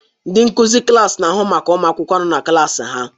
Ndị nkuzi klaasị na-ahụ maka ụmụ akwụkwọ nọ na klaasị ha